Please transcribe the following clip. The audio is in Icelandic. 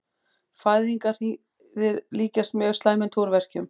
Fæðingarhríðir líkjast mjög slæmum túrverkjum.